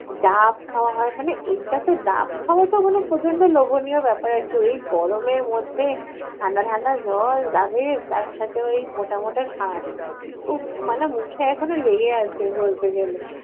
ডাব খাওয়া হয় মানে এইটা তো ডাব খাওয়া তো মানে প্রচণ্ড লোভনীয় ব্যাপার আর কি, ওই গরমের মধ্যে ঠাণ্ডা ঠাণ্ডা জল ডাবের তার সাথে ওই মোটা মোটা শাঁস, উফঃ মানে মুখে এখনো লেগে আছে বলতে গেলে।